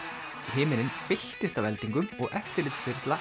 himinninn fylltist af eldingum og